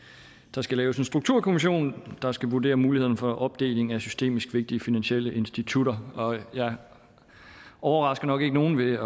der skal laves en strukturkommission der skal vurdere muligheden for opdeling af systemisk vigtige finansielle institutter og jeg overrasker nok ikke nogen ved